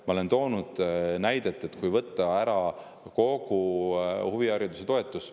Ma olen toonud näiteks selle, kui võetaks ära kogu huvihariduse toetus.